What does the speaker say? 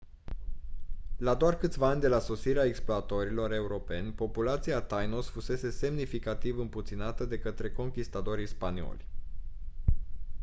la doar câțiva ani de la sosirea exploratorilor europeni populația tainos fusese semnificativ împuținată de către conchistadorii spanioli